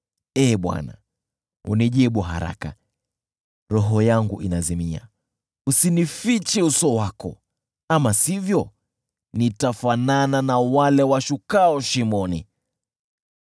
Ee Bwana , unijibu haraka, roho yangu inazimia. Usinifiche uso wako, ama sivyo nitafanana na wale washukao shimoni.